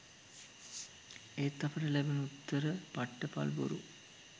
එත් අපිට ලැබුණු උත්තර පට්ට පල් බොරු.